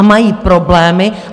A mají problémy.